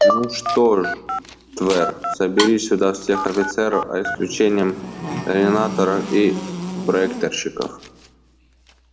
ну что же твер собери сюда всех офицеров за исключением координаторов и проектировщиков